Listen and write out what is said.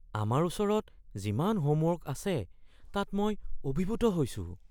আমাৰ ওচৰত যিমান হোমৱৰ্ক আছে তাত মই অভিভূত হৈছোঁ।